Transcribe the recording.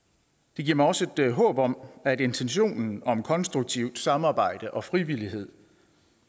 det giver mig også et håb om at intentionen om konstruktivt samarbejde og frivillighed